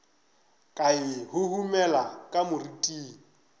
ka e huhumela ka moriting